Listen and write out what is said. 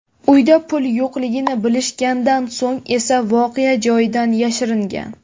Uyda pul yo‘qligini bilishgandan so‘ng esa voqea joyidan yashiringan.